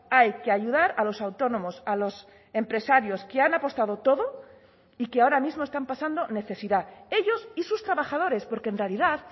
hay que ayudar a los autónomos a los empresarios que han apostado todo y que ahora mismo están pasando necesidad ellos y sus trabajadores porque en realidad